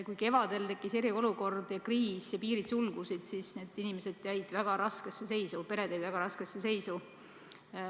Kui kevadel tekkis eriolukord ja kriis ning piirid sulgusid, siis need inimesed, pered jäid väga raskesse seisu.